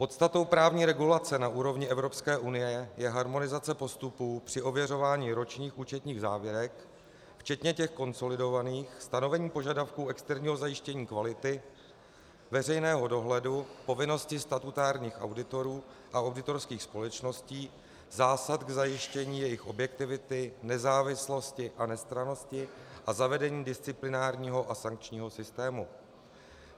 Podstatou právní regulace na úrovni Evropské unie je harmonizace postupů při ověřování ročních účetních závěrek včetně těch konsolidovaných, stanovení požadavku externího zajištění kvality, veřejného dohledu, povinnosti statutárních auditorů a auditorských společností, zásad k zajištění jejich objektivity, nezávislosti a nestrannosti a zavedení disciplinárního a sankčního systému.